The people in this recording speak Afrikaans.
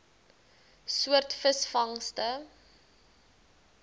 soort visvangste